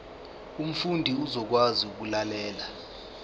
umfundi uzokwazi ukulalela